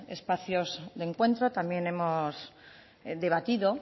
espacios de encuentro también hemos debatido